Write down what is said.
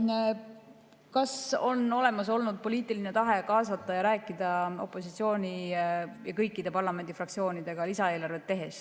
Kas lisaeelarvet tehes on olnud olemas poliitiline tahe kaasata ning rääkida opositsiooniga ja kõikide parlamendifraktsioonidega?